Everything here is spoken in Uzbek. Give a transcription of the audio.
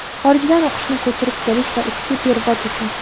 Xorijdan o‘qishni ko‘chirib kelish va ichki perevod uchun;.